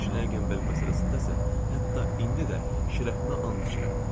Şulanqenberq məsələsində isə hətta indi də şərəfimə and içirəm.